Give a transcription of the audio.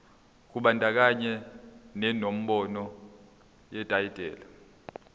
kubandakanya nenombolo yetayitela